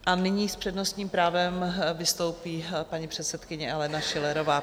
A nyní s přednostním právem vystoupí paní předsedkyně Alena Schillerová.